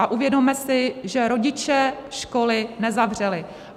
A uvědomme si, že rodiče školy nezavřeli.